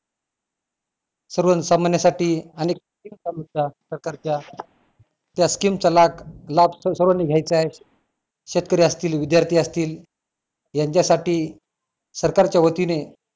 सर्व सामन्यासाठी आणि scheme चालू होत्या सरकारच्या त्या scheme चा लाभ लाभ सर्वांनी घ्यायचाय शेतकरी असतील विद्यार्थी असतील यांच्यासाठी सरकारच्या वतीने